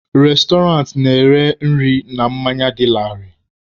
Restọrantị na-ere nri na mmanya dị laarị.